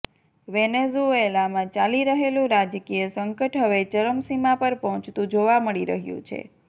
વેનેઝૂએલામાં ચાલી રહેલું રાજકીય સંકટ હવે ચરમસીમા પર પહોંચતું જોવા મળી રહ્યું છે